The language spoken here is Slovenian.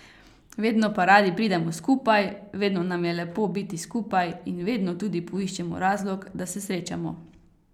Vedno pa radi pridemo skupaj, vedno nam je lepo biti skupaj in vedno tudi poiščemo razlog, da se srečamo.